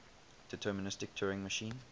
deterministic turing machine